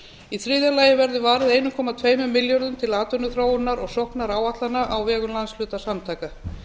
í þriðja lagi verður varið einum komma tveimur milljörðum til atvinnuþróunar og sóknaráætlana á vegum landshlutasamtaka